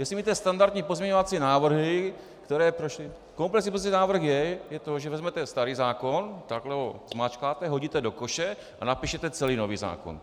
Jestli myslíte standardní pozměňovací návrhy, které prošly - komplexní pozměňovací návrh je to, že vezmete starý zákon, takhle ho zmačkáte, hodíte do koše a napíšete celý nový zákon.